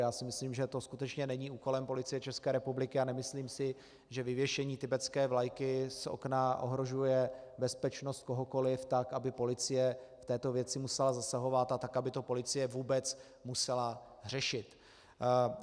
Já si myslím, že to skutečně není úkolem Policie České republiky, a nemyslím si, že vyvěšení tibetské vlajky z okna ohrožuje bezpečnost kohokoliv tak, aby policie v této věci musela zasahovat, a tak, aby to policie vůbec musela řešit.